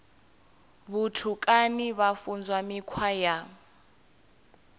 vhutukani vha funzwa mikhwa ya